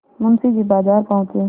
मुंशी जी बाजार पहुँचे